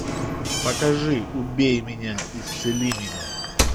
покажи убей меня исцели меня